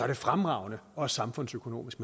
det fremragende også samfundsøkonomisk